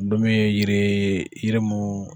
Don min yiri... yiri min